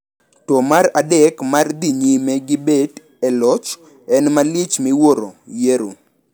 To mar adek mar dhi nyime gi bet e loch en malich miwuoro ' yiero'.